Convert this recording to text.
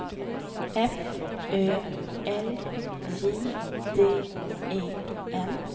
F Ö L J D E N